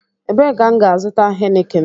Ebee ka m gá-azuta Heineken?